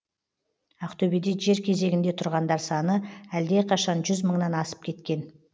ақтөбеде жер кезегінде тұрғандар саны әлдеқашан жүз мыңнан асып кеткен